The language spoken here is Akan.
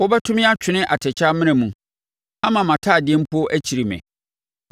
wobɛto me atwene atɛkyɛ amena mu, ama mʼatadeɛ mpo akyiri me.